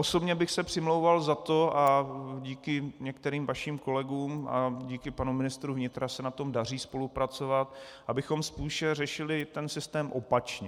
Osobně bych se přimlouval za to, a díky některým vašim kolegům a díky panu ministru vnitra se na tom daří spolupracovat, abychom spíše řešili ten systém opačně.